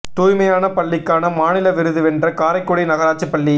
தூய்மையான பள்ளிக்கான மாநில விருது வென்ற காரைக்குடி நகராட்சிப் பள்ளி